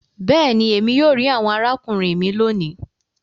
béèni, Èmi yóò ri àwọn arákùnrin mí lóni.